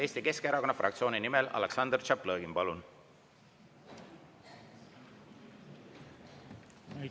Eesti Keskerakonna fraktsiooni nimel Aleksandr Tšaplõgin, palun!